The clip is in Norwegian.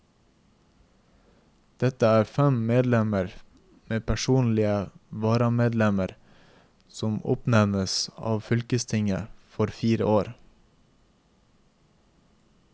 Dette er fem medlemmer med personlige varamedlemmer som oppnevnes av fylkestinget for fire år.